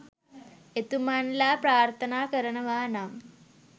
එතුමන් ලා ප්‍රාර්ථනා කරනවානම්